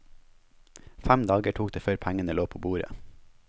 Fem dager tok det før pengene lå på bordet.